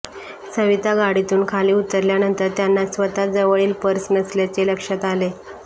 सविता गाडीतुन खाली उतरल्यानंतर त्यांना स्वतः जवळील पर्स नसल्याचे लक्ष्यात आले